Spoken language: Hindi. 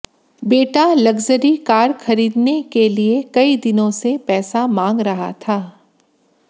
बेटा लग्जरी कार खरीदने के लिए कई दिनों से पैसा मांग रहा था